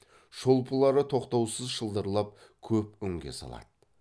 шолпылары тоқтаусыз шылдырлап көп үнге салады